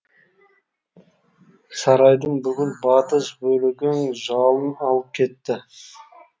сарайдың бүкіл батыс бөлегін жалын алып кетті